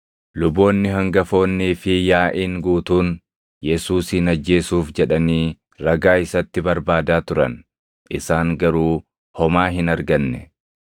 Luboonni hangafoonnii fi yaaʼiin guutuun Yesuusin ajjeesuuf jedhanii ragaa isatti barbaadaa turan; isaan garuu homaa hin arganne.